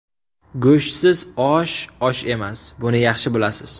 Go‘shtsiz osh osh emas, buni yaxshi bilasiz.